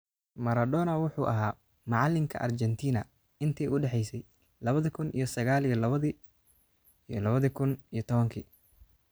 Maradona wuxuu ahaa macallinka Argentina intii u dhaxeysay lawadha kun iyo saqal iyo lawadhi kun iyo tawanki.